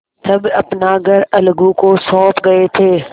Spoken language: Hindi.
तब अपना घर अलगू को सौंप गये थे